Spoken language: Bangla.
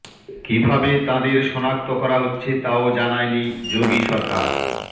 কীভাবে তাঁদের সনাক্ত করা হচ্ছে তাও জানায়নি যোগী সরকার